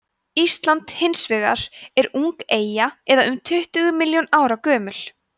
ísland hins vegar er ung eyja eða um tuttugu milljón ára gömul